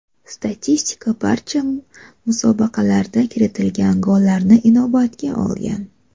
Statistika barcha musobaqalarda kiritilgan gollarni inobatga olgan.